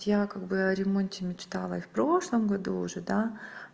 я как бы о ремонте мечтала и в прошлом году уже да